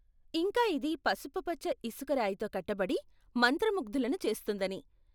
ఇంకా ఇది పసుపుపచ్చ ఇసుకరాయితో కట్టబడి, మంత్రముగ్ధులను చేస్తుందని.